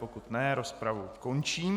Pokud ne, rozpravu končím.